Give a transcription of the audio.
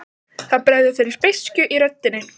Það bregður fyrir beiskju í röddinni.